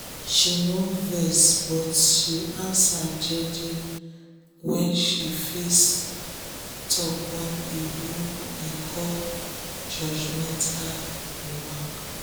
she nor vex but she answer jeje wen she face talk wey oyibo dey call judgemental remark